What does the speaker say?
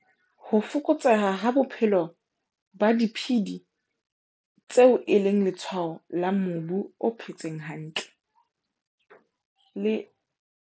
Ho fokotseha ha bophelo ba diphedi tseo e leng letshwao la mobu o phetseng hantle, le